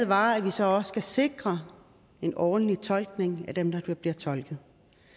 var at vi så også skal sikre en ordentlig tolkning for dem der bliver tolket